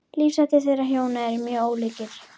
Lífshættir þeirra hjóna eru mjög ólíkir.